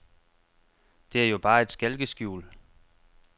Det er jo bare et skalkeskjul.